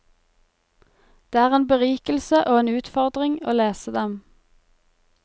Det er en berikelse og en utfordring å lese dem.